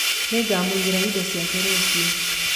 Nĩngamũigĩra indo ciake rũciũ.